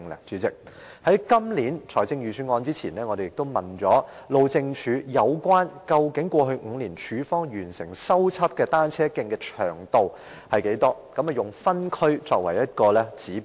在發表本年度財政預算案前，我們曾詢問路政署過去5年署方完成修葺的單車徑的長度，以分區作為指標。